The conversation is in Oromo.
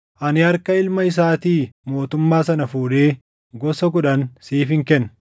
Ani harka ilma isaatii mootummaa sana fuudhee gosa kudhan siifin kenna.